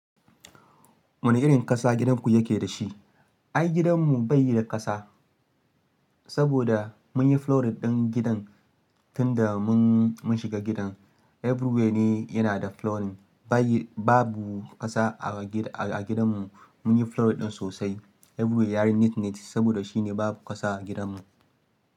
Wane irin ƙasa gidanku yake da shi? Ai gidanmu bai yi da ƙasa, saboda mun yi flooring ɗin gidan tun da mun shiga gidan. Everywhere ne yana da flooring. Babu ƙasa a gidanmu, mun yi flooring ɗin sosai. Everywhere yayi neat, neat saboda shine babu ƙasa a gidanmu.